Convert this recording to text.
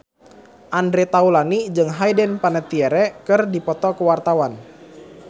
Andre Taulany jeung Hayden Panettiere keur dipoto ku wartawan